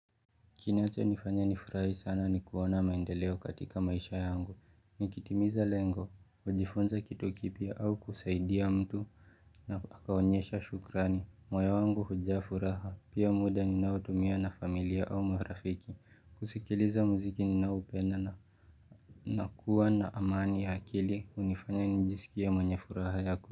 Kinachonifanya nifurahi sana ni kuona maendeleo katika maisha yangu, nikitimiza lengo, kujifunza kitu kipya au kusaidia mtu na akaonyesha shukrani, moyo wangu hujaa furaha, pia muda ninaotumia na familia au marafiki, kusikiliza muziki ninaoupenda na nakuwa na amani ya akili, hunifanya nijisikie mwenye furaha yako.